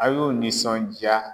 A y'o nisɔndiya